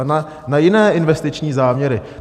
A na jiné investiční záměry.